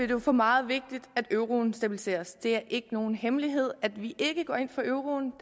jo for meget vigtigt at euroen stabiliseres det er ikke nogen hemmelighed at vi ikke går ind for euroen